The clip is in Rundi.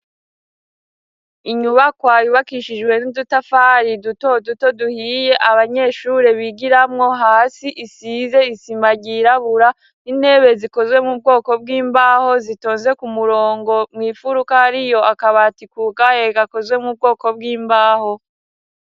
Inyubakwa yubakishijwe n'udutafari duto duto duhiye abanyeshure bigiramwo; hasi isize isima ryirabura n'intebe zikozwe mu bwoko bw'imbaho zitonze ku murongo ; mw' imfuruka hariyo akabati kugaye gakozwe mu bwoko bw'imbaho.